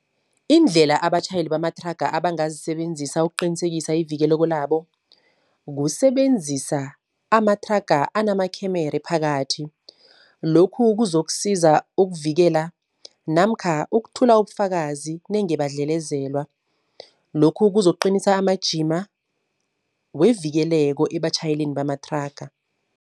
Indlela abatjhayeli bamathraga abangazisebenzisa ukuqinisekisa ivikeleko labo, kusebenzisa amathraga anamakhemere phakathi. Lokhu kuzokusiza ukuvikela namkha ukuthula ubufakazi nenge badlelezelwa. Lokhu kuzokuqinisa amajima wevikeleko ebatjhayeleni bamathraga.